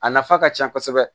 A nafa ka ca kosɛbɛ